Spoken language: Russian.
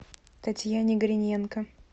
татьяне гриненко